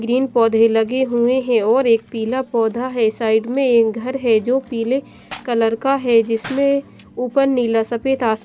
green पौधे लगे हुए हैं और एक पीला पौधा है साइड में घर है जो पीले कलर का है जिसमें ऊपर नीला सफेद आस--